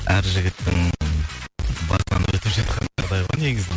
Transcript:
әр жігіттің басынан өтіп жатқан жағдай ғой негізі